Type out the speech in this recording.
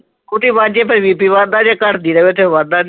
ਖੁੱਦ ਹੀ ਵਾਂਝੇ ਪਏ ਬੀ ਪੀ ਵੱਧਦਾ ਜੇ । ਜੇ ਘੱਟਦੀ ਰਹੇ ਵੱਧਦਾ ਨਹੀ